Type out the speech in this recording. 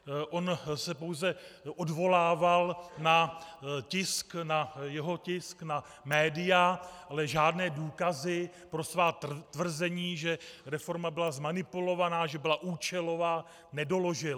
On se pouze odvolával na tisk, na jeho tisk, na média, ale žádné důkazy pro svá tvrzení, že reforma byla zmanipulovaná, že byla účelová, nedoložil.